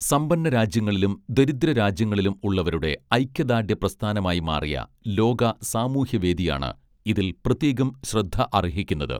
സമ്പന്ന രാജ്യങ്ങളിലും ദരിദ്ര രാജ്യങ്ങളിലും ഉള്ളവരുടെ ഐക്യദാർഢ്യ പ്രസ്ഥാനമായി മാറിയ ലോക സാമൂഹ്യവേദിയാണ് ഇതിൽ പ്രത്യേകം ശ്രദ്ധ അർഹിക്കുന്നത്